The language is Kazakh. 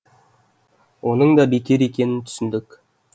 оның да бекер екенін түсіндік